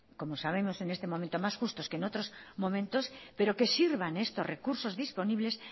como sabemos en este momento más justos que en otros momentos pero que sirvan estos recursos disponibles